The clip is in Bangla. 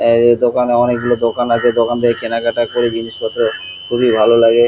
এই যে দোকানে অনেক গুলো দোকান আছে। দোকান থেকে কেনাকাটা করে জিনিসপত্র খুবই ভালো লাগে।